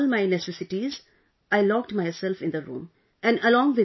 After keeping all my necessities, I locked myself in the room